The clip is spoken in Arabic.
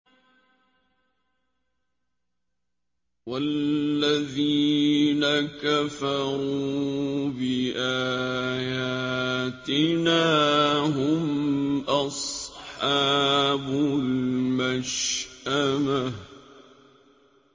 وَالَّذِينَ كَفَرُوا بِآيَاتِنَا هُمْ أَصْحَابُ الْمَشْأَمَةِ